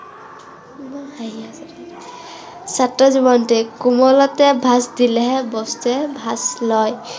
ছাত্ৰ জীৱনতেই। কোমলতে ভাঁজ দিলেহে বস্তুৱে ভাঁজ লয়।